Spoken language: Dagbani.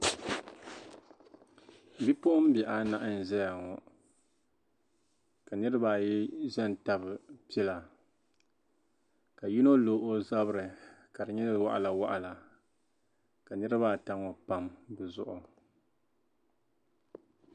Bipuɣin bihi anahi nzaya ŋɔ, kanirib ayi zan tab pila ka yinɔ lɔozabiri kadi nyɛ waɣila waɣila ka niribi ata ŋɔ pam bizuɣiri.